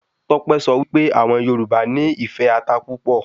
Tọ́pẹ́ sọ wí pé àwọn Yorùbá nì ìfẹ́ ata púpọ̀